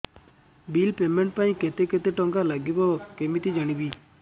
bill payment ପାଇଁ କେତେ କେତେ ଟଙ୍କା ଲାଗିବ କେମିତି ଜାଣିବି